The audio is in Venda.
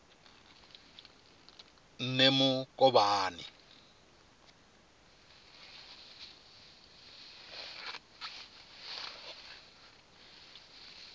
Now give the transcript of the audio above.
nemukovhani